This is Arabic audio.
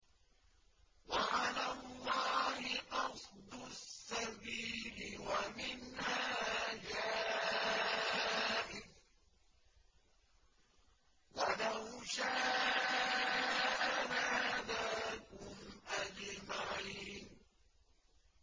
وَعَلَى اللَّهِ قَصْدُ السَّبِيلِ وَمِنْهَا جَائِرٌ ۚ وَلَوْ شَاءَ لَهَدَاكُمْ أَجْمَعِينَ